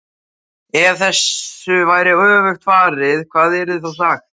EF þessu væri öfugt farið, hvað yrði þá sagt?